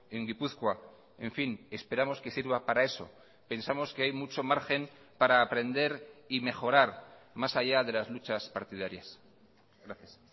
en gipuzkoa en fin esperamos que sirva para eso pensamos que hay mucho margen para aprender y mejorar más allá de las luchas partidarias gracias